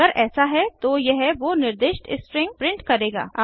अगर ऐसा है तो यह वो निर्दिष्ट स्ट्रिंग प्रिंट करेगा